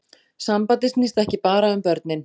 Sambandið snýst ekki bara um börnin